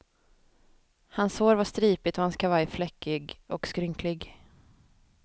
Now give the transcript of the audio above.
Hans hår var stripigt och hans kavaj fläckig och skrynklig.